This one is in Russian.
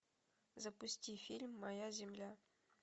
запусти фильм моя земля